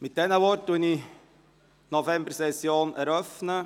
Mit diesen Worten erkläre ich die Novembersession für eröffnet.